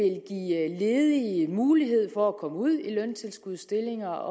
ledige mulighed for at komme ud i løntilskudsstillinger